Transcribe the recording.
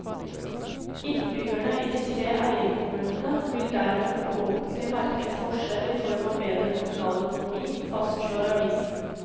Innbyggerne i de tre eierkommunene vil dermed forhåpentlig merke en forskjell i form av bedre kommunal økonomi, fastslår avisen.